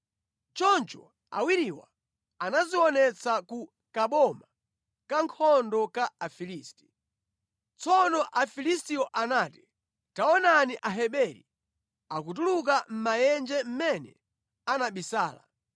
Choncho awiriwa anadzionetsa ku kaboma ka nkhondo ka Afilisti. Tsono Afilistiwo anati, “Taonani! Aheberi akutuluka mʼmaenje mʼmene anabisala.”